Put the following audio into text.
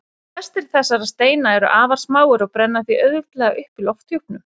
Flestir þessara steina eru afar smáir og brenna því auðveldlega upp í lofthjúpnum.